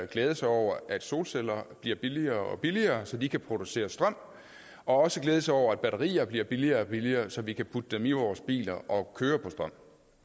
glæde sig over at solceller bliver billigere og billigere så de kan producere strøm og også glæde sig over at batterier bliver billigere og billigere så vi kan putte dem i vores biler og køre på strøm